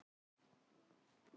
Heppni og karakter svaraði Hannes.